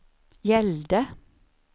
gällde